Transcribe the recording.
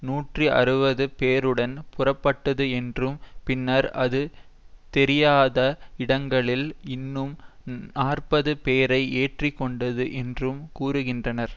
நூற்றி அறுபது பேருடன் புறப்பட்டது என்றும் பின்னர் அது தெரியாத இடங்களில் இன்னும் நாற்பது பேரை ஏற்றி கொண்டது என்றும் கூறுகின்றனர்